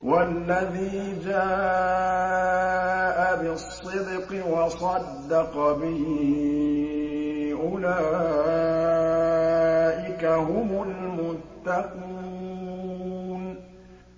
وَالَّذِي جَاءَ بِالصِّدْقِ وَصَدَّقَ بِهِ ۙ أُولَٰئِكَ هُمُ الْمُتَّقُونَ